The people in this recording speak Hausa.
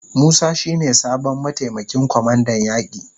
Musa shi ne sabon mataimakin kwamandan yaki.